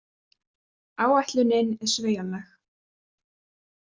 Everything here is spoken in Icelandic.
Áætlunin er sveigjanleg